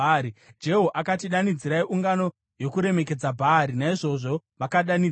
Jehu akati, “Danidzirai ungano yokuremekedza Bhaari.” Naizvozvo vakadanidzira.